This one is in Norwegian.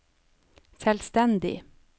selvstendig